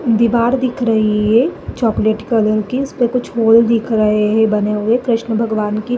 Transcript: दीवार दिख रही हे चॉकलेट कलर की इसपे कुछ होल दिख रहे हे बने हुए। कृष्ण भगवान की --